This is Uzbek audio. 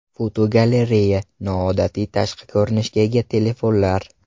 Fotogalereya: Noodatiy tashqi ko‘rinishga ega telefonlar.